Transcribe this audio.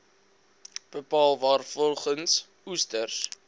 bepaal waarvolgens oester